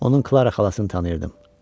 Onun Clara xalasını tanıyırdım.